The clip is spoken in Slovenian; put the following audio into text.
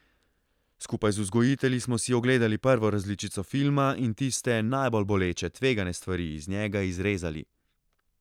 Skupaj z vzgojitelji smo si ogledali prvo različico filma in tiste najbolj boleče, tvegane stvari iz njega izrezali.